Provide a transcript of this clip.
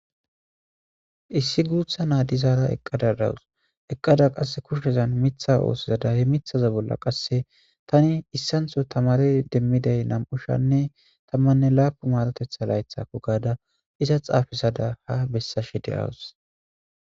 Issi gutha nayiya eqada dawus eqada qasi kushezan mitha oso oyiqada he mithaza bolla qasi tani isantho tamere demidayi na,mu sh,anne tamane lapun marotetha layithako gada iza xafisada ha besashe deawus